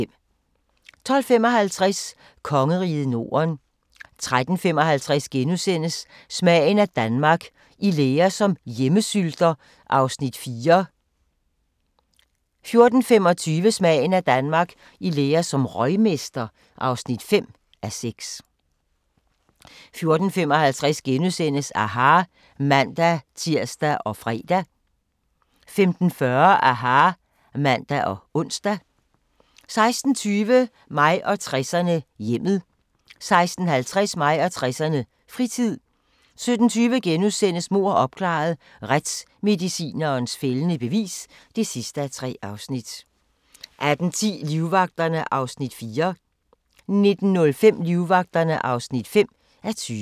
12:55: Kongeriget Norden 13:55: Smagen af Danmark – I lære som hjemmesylter (4:6)* 14:25: Smagen af Danmark - i lære som røgmester (5:6) 14:55: aHA! *(man-tir og fre) 15:40: aHA! (man og ons) 16:20: Mig og 60'erne: Hjemmet 16:50: Mig og 60'erne: Fritid 17:20: Mord opklaret – Retsmedicinens fældende bevis (3:3)* 18:10: Livvagterne (4:20) 19:05: Livvagterne (5:20)